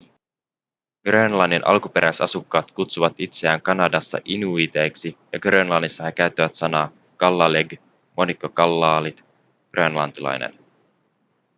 grönlannin alkuperäisasukkaat kutsuvat itseään kanadassa inuiiteiksi ja grönlannissa he käyttävät sanaa kalaalleq monikko kalaallit grönlantilainen